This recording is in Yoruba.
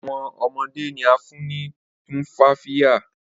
Awọn ọmọde ni a fun ni Tumfafiya